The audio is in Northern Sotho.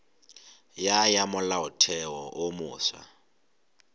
ya ya molaotheo wo mofsa